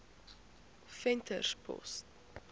venterspost